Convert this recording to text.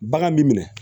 Bagan m'i minɛ